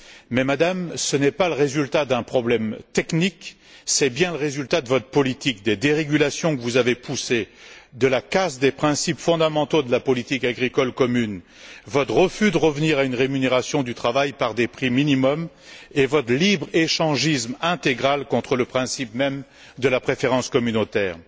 Mais, Madame, ce n'est pas le résultat d'un problème technique, c'est le résultat de votre politique de dérégulation que vous avez poussée, de la casse des principes fondamentaux de la politique agricole commune, votre refus de revenir à une rémunération du travail par des prix minimums et votre libre échangisme intégral contre le principe même de la préférence communautaire.